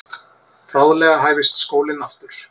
Bráðlega hæfist skólinn aftur.